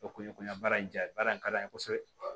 O kun ye kɔni baara in jaa baara in ka d'an ye kosɛbɛ